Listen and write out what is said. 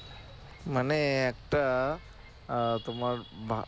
মানে একটা আহ তোমার ভালো